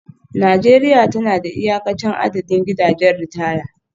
Najeriya tana da iyakacin adadin gidajen ritaya